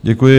Děkuji.